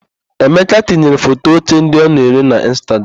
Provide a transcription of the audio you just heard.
Emeka tinyere foto oche ndị ọ na-ere na Ịnstagram.